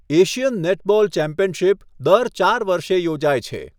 Asian netball championship દર ચાર વર્ષે યોજાય છે.